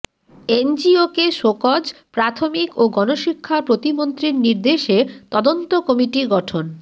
এনজিওকে show cause প্রাথমিক ও গণশিক্ষা প্রতিমন্ত্রীর নির্দেশে তদন্ত কমিটি গঠন